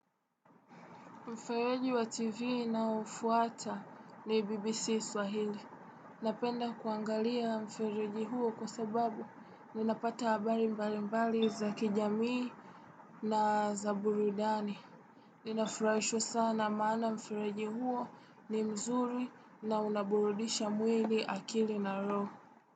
Mfereji wa TV na ufuata ni BBC Swahili. Napenda kuangalia mfereji huo kwa sababu nina pata abari mbali mbali za kijamii na za burudani. Ninafurawisho sana mana mfereji huo ni mzuri na unaburudisha mwili akili na roo.